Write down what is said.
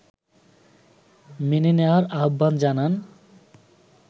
মেনে নেয়ার আহ্বান জানান